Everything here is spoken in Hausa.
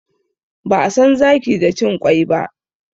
Ba'a san zaki da cin ƙwai ba.